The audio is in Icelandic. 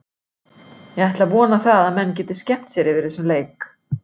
Ég ætla að vona það að menn geti skemmt sér yfir þessum leik.